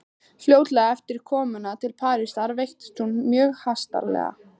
Fljótlega eftir komuna til Parísar veiktist hún mjög hastarlega.